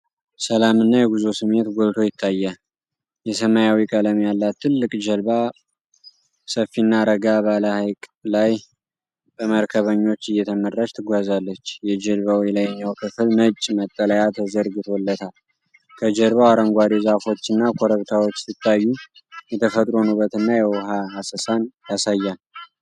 ሰላምና የጉዞ ስሜት ጎልቶ ይታያል። የሰማያዊ ቀለም ያላት ትልቅ ጀልባ ሰፊና ረጋ ባለ ሐይቅ ላይ በመርከበኞች እየተመራች ትጓዛለች። የጀልባው የላይኛው ክፍል ነጭ መጠለያ ተዘርግቶለታል። ከጀርባው አረንጓዴ ዛፎችና ኮረብታዎች ሲታዩ፣ የተፈጥሮን ውበት እና የውሃ አሰሳን ያሳያል።